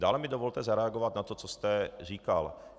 Dále mi dovolte zareagovat na to, co jste říkal.